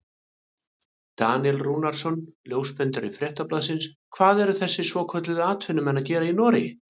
Daníel Rúnarsson ljósmyndari Fréttablaðsins: Hvað eru þessir svokölluðu atvinnumenn að gera í Noregi?